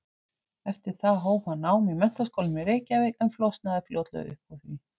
Eftir það hóf hann nám í Menntaskólanum í Reykjavík en flosnaði fljótlega upp úr því.